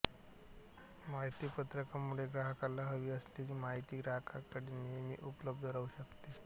माहितीपत्रकामुळे ग्राहकाला हवी असलेली माहिती ग्राहकाकडे नेहमी उपलब्ध राहू शकते